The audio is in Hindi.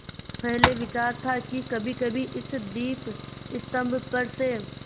पहले विचार था कि कभीकभी इस दीपस्तंभ पर से